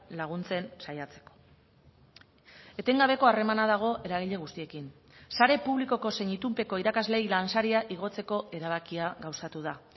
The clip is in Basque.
laguntzen saiatzeko etengabeko harremana dago eragile guztiekin sare publikoko zein itunpeko irakasleei lansaria igotzeko erabakia gauzatu da